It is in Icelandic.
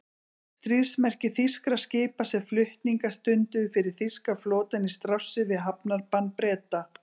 Stríðsmerki þýskra skipa, sem flutninga stunduðu fyrir þýska flotann í trássi við hafnbann Breta.